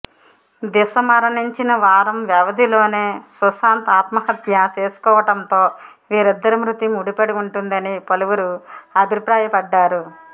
దిశ మరణించిన వారం వ్యవధిలోనే సుశాంత్ ఆత్మహత్య చేసుకోవడంతో వీరిద్దరి మృతి ముడిపడి ఉంటుందని పలువురు అభిప్రాయపడ్డారు